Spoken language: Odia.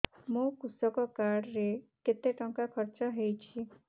ମୋ କୃଷକ କାର୍ଡ ରେ କେତେ ଟଙ୍କା ଖର୍ଚ୍ଚ ହେଇଚି